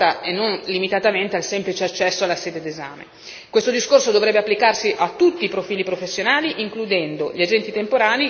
e soprattutto che assistenza personalizzata reale possa essere data e non limitatamente al semplice accesso alla sede di esame.